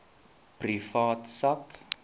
privaat sak